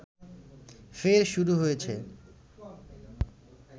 ফের শুরু হয়েছে